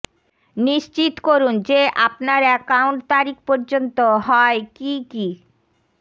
নিশ্চিত করুন যে আপনার অ্যাকাউন্ট তারিখ পর্যন্ত হয় কী কী